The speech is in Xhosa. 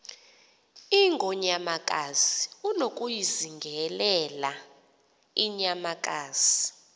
ingonyamakazi unokuyizingelela inyamakazi